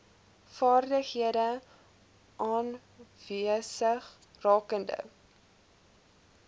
vaardighede aanwesig rakende